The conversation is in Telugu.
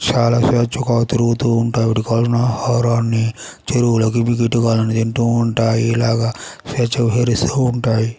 చాలా స్వేచ్ఛగా తిరుగుతుంటాయి వీటికి కావలసిన ఆహారాన్ని చెరువులకు దిగి తింటూ ఉంటాయి ఇలాగా స్వేచ్ఛగా సంచరిస్తూ ఉంటాయి.